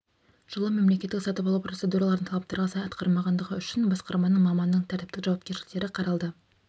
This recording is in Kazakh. жылы мемлекеттік сатып алу процедураларын талаптарға сай атқармағандығы үшін басқарманың маманның тәртіптік жауапкершіліктері қаралды